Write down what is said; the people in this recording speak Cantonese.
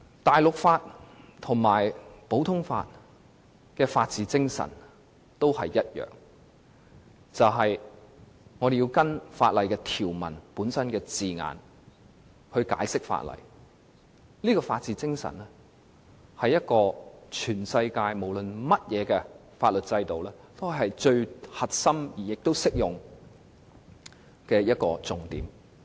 大陸法和普通法的法治精神都是一樣，那就是按照法律條文的字眼解釋法例，這種法治精神是全世界所有法律制度最核心和適用的要點。